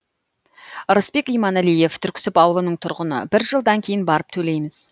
рысбек иманалиев түрксіб ауылының тұрғыны бір жылдан кейін барып төлейміз